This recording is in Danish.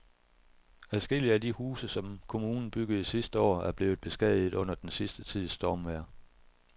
Adskillige af de huse, som kommunen byggede sidste år, er blevet beskadiget under den sidste tids stormvejr.